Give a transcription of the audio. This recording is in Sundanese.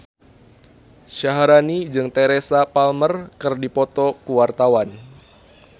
Syaharani jeung Teresa Palmer keur dipoto ku wartawan